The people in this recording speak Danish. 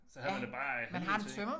Så havde man det bare ad helvede til